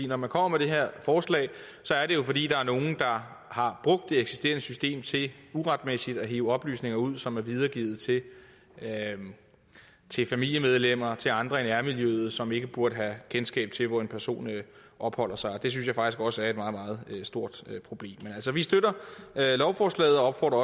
når man kommer med det her forslag er det jo fordi der er nogle der har brugt det eksisterende system til uretmæssigt at hive oplysninger ud som er videregivet til til familiemedlemmer og til andre i nærmiljøet som ikke burde have kendskab til hvor en person opholder sig og det synes jeg faktisk også er et meget meget stort problem men altså vi støtter lovforslaget og opfordrer